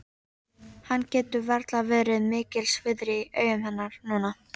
Hann getur varla verið mikils virði í augum hennar núna.